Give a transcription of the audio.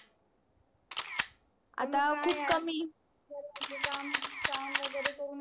आता खूप कमी सर्वांचे काम काम वगेरे करून ही